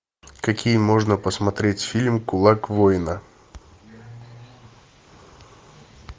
какие можно посмотреть фильм кулак воина